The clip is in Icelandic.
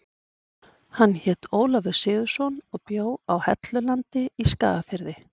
Hann hét Ólafur Sigurðsson og bjó á Hellulandi í Skagafirði.